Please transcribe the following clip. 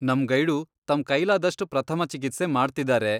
ನಮ್ ಗೈಡು ತಮ್ ಕೈಲಾದಷ್ಟ್ ಪ್ರಥಮ ಚಿಕಿತ್ಸೆ ಮಾಡ್ತಿದಾರೆ.